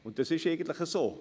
Und es ist eigentlich so.